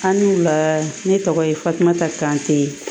An wula ne tɔgɔ ye fatumata kante